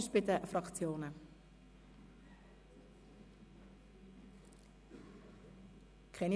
Es scheint keine Fraktionsvoten zu geben.